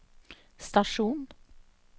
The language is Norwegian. stasjon